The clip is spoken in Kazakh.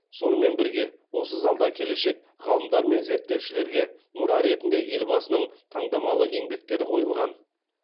сонымен бірге осы залда келешек ғалымдар мен зерттеушілерге мұра ретінде елбасының таңдамалы еңбектері қойылған